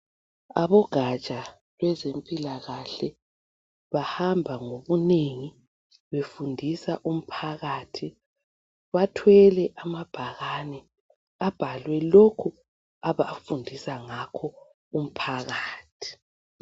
Abogatsha lwezempilakahle bahamba ngobunengi befundisa umphakathi. Bathwele amabhakane abhaliwe lokho abafundisa ngakho umphakathi.